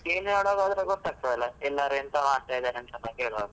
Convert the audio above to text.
ಕೇಳಿ ನೋಡುವಾಗ ಆದ್ರೆ ಗೊತ್ತಾಗ್ತದೆ ಅಲ ಎಲ್ಲರ್ ಎಂತ ಮಾಡ್ತಾ ಇದ್ದಾರೆ ಅಂತ ಎಲ್ಲ ಕೇಳುವಾಗ.